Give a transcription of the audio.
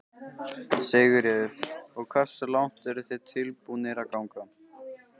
Sigríður: Og hversu langt eru þið tilbúnir að ganga?